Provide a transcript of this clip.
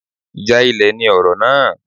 Ìjà ilẹ̀ ni ọ̀rọ̀ náà.